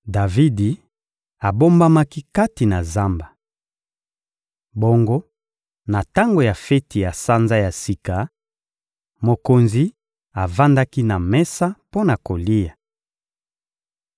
Davidi abombamaki kati na zamba. Bongo na tango ya feti ya Sanza ya Sika, mokonzi avandaki na mesa mpo na kolia.